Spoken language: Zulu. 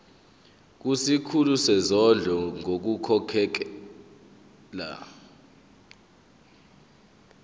kusikhulu sezondlo ngokukhokhela